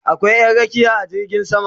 Akwai Ƴan rakiya a jirgin sama